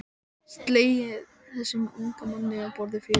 Slegin þessum unga manni á borði fjögur.